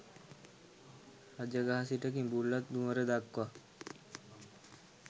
රජගහ සිට කිඹුල්වත් නුවර දක්වා